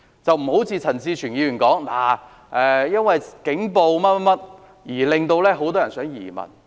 這情況並不是像陳志全議員所說，是警暴令很多人想移民。